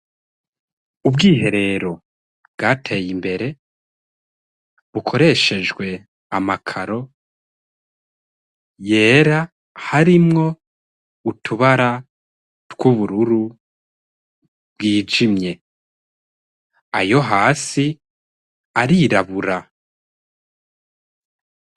Ubwiherero bwateye imbere. Bukoreshejwe amakaro yera harimwo utubara tw'ubururu bwijimye, ayo hasi arirabura.